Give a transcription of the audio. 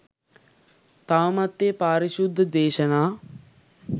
තවමත් ඒ පාරිශුද්ධ දේශනා